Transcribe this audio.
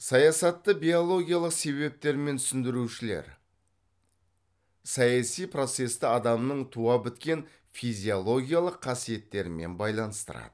саясатты биологиялық себептермен түсіндірушілер саяси процесті адамның туа біткен физиологиялық қасиеттерімен байланыстырады